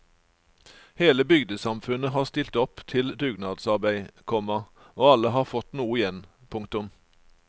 Hele bygdesamfunnet har stilt opp til dugnadsarbeid, komma og alle har fått noe igjen. punktum